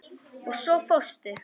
Og svo fórstu.